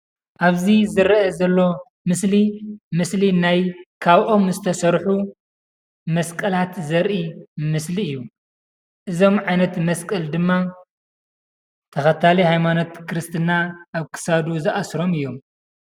አብዚ ዝረእ ዘሎ ምስሊ ምስሊ ናይ ካብ ኦም ዝተሰሩሑ መስቀላተ ዘሪኢ ምሰሊ እዩ፡፡ እዞም ዓይነት መስቀለ ድማ ተከታሊ ሃይማኖት ክርስትና አብ ክሳዶም ዝአስሮም እዮም፡፡